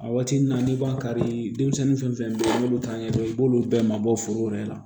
A waati n'i b'a kari denmisɛnnin fɛn fɛn n'olu t'a ɲɛdɔn i b'olu bɛɛ mabɔ foro wɛrɛ la